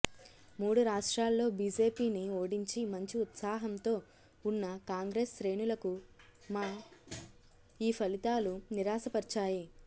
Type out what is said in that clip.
మూడు రాష్ట్రాల్లో బిజెపిని ఓడించి మంచి ఉత్సాహంతో వున్న కాంగ్రెస్ శ్రేణులకుమ ఈ ఫలితాలు నిరాశపర్చాయి